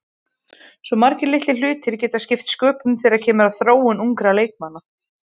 Svo margir litlir hlutir geta skipt sköpum þegar kemur að þróun ungra leikmanna.